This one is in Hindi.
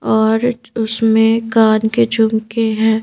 और उसमें कान के झुमके हैं।